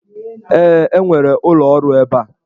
Ee, e nwere ụlọ ọrụ ebe a.